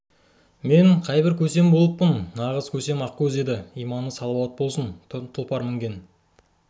мен қайбір көсем болып жарытыппын нағыз көсем ақкөз еді иманы салауат болсын тұлпар мініп ту ұстаған